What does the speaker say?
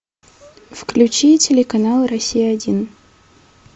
включи телеканал россия один